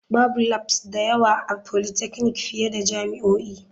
Babu labs da yawa a polytechnic fiye da jami'o'i.